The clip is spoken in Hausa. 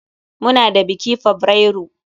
Muna da biki fabrairu.